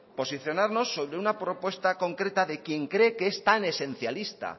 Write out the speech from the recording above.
posicionarnos sobre una propuesta concreta de quien cree que es tan esencialista